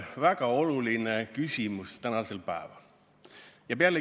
Väga oluline küsimus tänasel päeval!